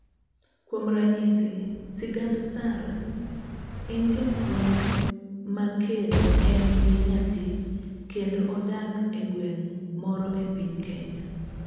Kuom ranyisi, sigand Sara; En japuonj ma kendo en gi nyathi kendo odak egweng' moro e piny Kenya.